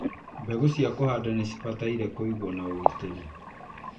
Mbegũ cia kũhanda nĩ cibatie kũigwo na ũgitĩri.